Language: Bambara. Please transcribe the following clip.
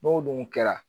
N'o dun kɛra